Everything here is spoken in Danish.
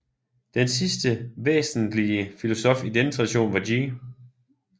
Den sidste væsenslige filosof i denne tradition var G